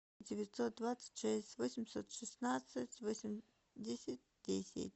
девятьсот двадцать шесть восемьсот шестнадцать восемьдесят десять